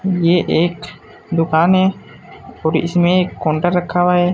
ये एक दुकान है और इसमें एक काउंटर रखा हुआ है।